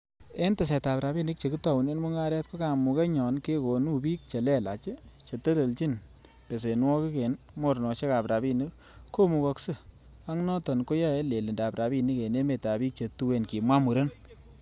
'En tesetab rabinik che kitounen mungaret, ko kamugenyon kekonu bik che lelach chetelelchin besenwogik en mornosiekab rabinik komugokse, ak noton koyoe lelindab rabinik en emetab bik che tuen,'' kimwa muren